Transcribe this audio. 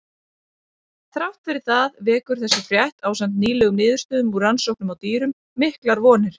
Þrátt fyrir það vekur þessi frétt, ásamt nýlegum niðurstöðum úr rannsóknum á dýrum, miklar vonir.